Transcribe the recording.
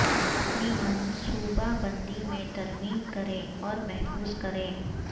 اپنی منصوبہ بندی میں ترمیم کریں اور محفوظ کریں